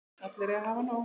Allir eiga að hafa nóg.